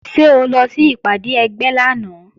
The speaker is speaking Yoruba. Ṣé o lọ sí ìpàdé ẹgbẹ́ lánàá?